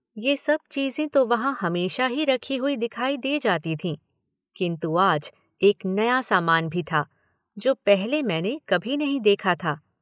ये सब चीजें तो वहां हमेशा ही रखी हुई दिखाई दे जाती थीं किन्तु आज एक नया सामान भी था जो पहले मैंने कभी नहीं देखा था।